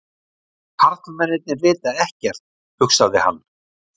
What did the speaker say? Karlmennirnir vita ekkert, hugsaði hann.